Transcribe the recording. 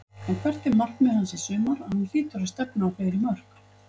En hvert er markmið hans í sumar, hann hlýtur að stefna á fleiri mörk?